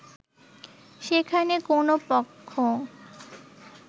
সেখানে কোন পক্ষ